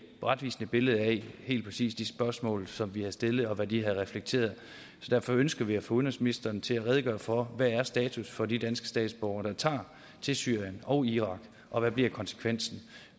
retvisende billede af helt præcis de spørgsmål som vi har stillet og hvad de har reflekteret så derfor ønsker vi at få udenrigsministeren til at redegøre for hvad status er for de danske statsborgere der tager til syrien og irak og hvad bliver konsekvensen